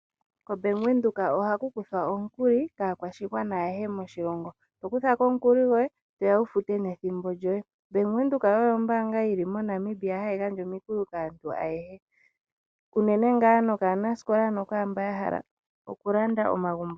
Ko Bank Windhoek ohaku kuthwa omukuli kaakwashigwana ayehe moshilongo. Tokuthako omukuli gwoye toya wu fute nethimbo lyoye. Bank Windhoek oyo ombaanga yili MoNamibia hayi gandja omikuli kaantu ayehe unene ngaa nokaanasikola nokwaa mboka haya hala oku landa omagumbo.